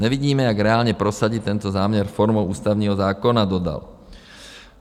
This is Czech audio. Nevidíme, jak reálně prosadit tento záměr formou Ústavního zákona, dodal.